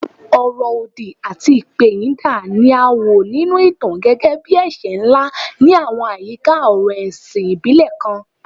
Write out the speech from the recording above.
Ọ̀rọ̀ òdì àti ìpẹ̀yìndà ni a wò nínú ìtàn gẹ́gẹ́ bí ẹ̀ṣẹ̀ ńlá ní àwọn àyíká ọ̀rọ̀ ẹ̀sìn ìbílẹ̀ kan